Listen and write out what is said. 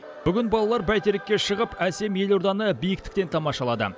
бүгін балалар бәйтерекке шығып әсем елорданы биіктіктен тамашалады